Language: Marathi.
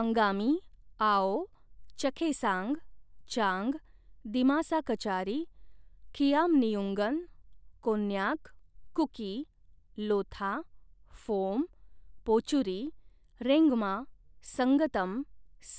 अंगामी, आओ, चखेसांग, चांग, दिमासा कचारी, खियामनिउन्गन, कोन्याक, कुकी, लोथा, फोम, पोचुरी, रेंगमा, संगतम,